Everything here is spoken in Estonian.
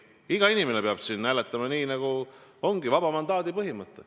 Iga inimene peab siin hääletama nii, nagu näeb ette vaba mandaadi põhimõte.